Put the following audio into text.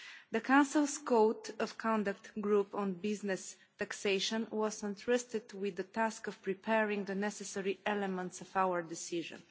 The Council's Code of Conduct Group on business taxation was entrusted with the task of preparing the necessary elements for our decision.